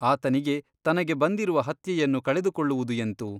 ಆತನಿಗೆ ತನಗೆ ಬಂದಿರುವ ಹತ್ಯೆಯನ್ನು ಕಳೆದುಕೊಳ್ಳುವುದು ಎಂತು ?